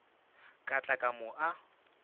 ka tla ka mo a